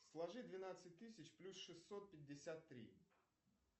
сложи двенадцать тысяч плюс шестьсот пятьдесят три